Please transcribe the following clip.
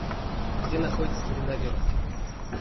где находится гренадер